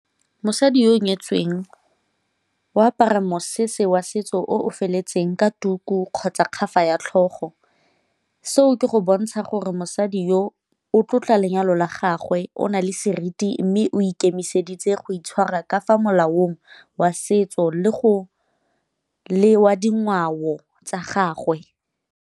Mosadi yo o nyetsweng o apara mosese wa setso o feletseng ka tuku kgotsa ya tlhogo. Seo ke go bontsha gore mosadi yo o tlotla lenyalo la gagwe o na le seriti, mme o ikemiseditse go itshwara ka fa molaong wa setso le wa dingwao tsa gagwe.